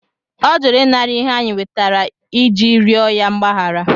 Ọ jụrụ inara ihe anyị wetere iji rịọ ya mgbaghara.